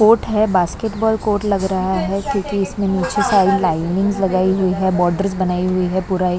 court है basketball coat लग रहा है क्योंकि इसमें नीचे सारी लाइनिंग लगाई हुई है बॉर्डर बनाई हुई है पूरा--